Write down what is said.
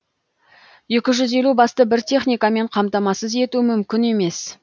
екі жүз елу басты бір техникамен қамтамасыз ету мүмкін емес